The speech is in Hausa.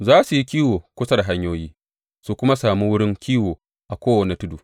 Za su yi kiwo kusa da hanyoyi su kuma sami wurin kiwo a kowane tudu.